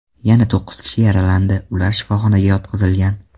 Yana to‘qqiz kishi yaralandi, ular shifoxonaga yotqizilgan.